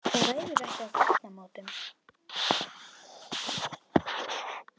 Það ræðum við ekki á gatnamótum.